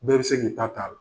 Bɛɛ be se k'i ta ta a la.